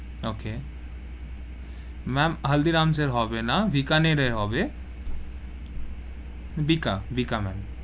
Okay ma'am হালদিরামের হবে না, বিকানেরে হবে, বিকা~ বিকা~ ma'am,